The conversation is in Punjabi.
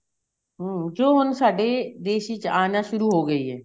ਹਮ ਕਿਉਂ ਹੁਣ ਸਾਡੀ ਦੇਸ਼ ਚ ਆਣਾ ਸ਼ੁਰੂ ਹੋ ਗਈ ਏ